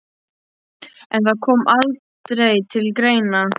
En það kom aldrei til greina.